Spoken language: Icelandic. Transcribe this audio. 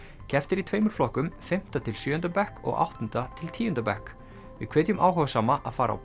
keppt er í tveimur flokkum fimmta til sjöunda bekk og áttunda til tíunda bekk við hvetjum áhugasama að fara á